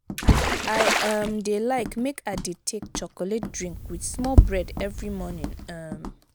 i um dey like make i dey take chocolate drink wit small bread every morning. um